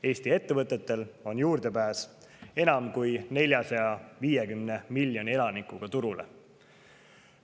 Eesti ettevõtetel on juurdepääs enam kui 450 miljoni turule.